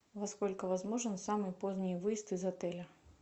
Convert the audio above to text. во сколько возможен самый поздний выезд из отеля